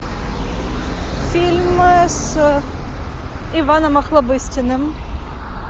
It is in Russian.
фильмы с иваном охлобыстиным